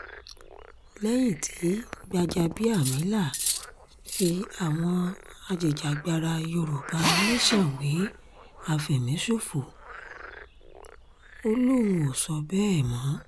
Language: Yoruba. lẹ́yìn tí gbàjàbíàmílà fi àwọn ajìjàgbara yorùbá nation wé àfẹ̀míṣòfò ó lóun ò sọ bẹ́ẹ̀ mọ́